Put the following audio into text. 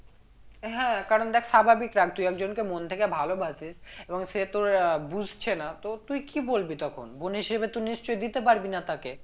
হ্যাঁ কারণ দেখ স্বাভাবিক রাগ তুই একজনকে মন থেকে ভালোবাসিস এবং সে তোর আহ বুঝছে না তো তুই কি বলবি তখন বোন হিসেবে তো নিশ্চই দিতে পারবি না তাকে